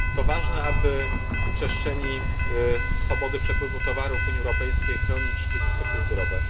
To ważne, aby w przestrzeni swobody przepływu towarów w Unii Europejskiej chronić dziedzictwo kulturowe.